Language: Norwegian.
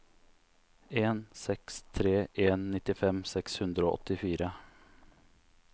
en seks tre en nittifem seks hundre og åttifire